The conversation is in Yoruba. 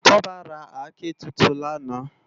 Toba rá àké tútún làná